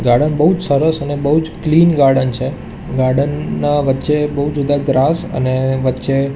garden બઉ જ સરસ અને બઉ જ ક્લીન ગાર્ડન છે ગાર્ડન ના વચ્ચે બઉ જુદા અને વચ્ચે --